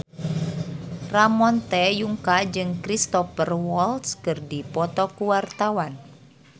Ramon T. Yungka jeung Cristhoper Waltz keur dipoto ku wartawan